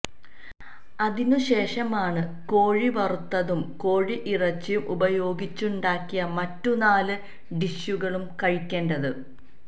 അതിനു ശേഷമാണു കോഴി വറുത്തതും കോഴിയിറച്ചി ഉപയോഗിച്ചുണ്ടാക്കിയ മറ്റു നാല് ഡിഷുകളും കഴിക്കേണ്ടത്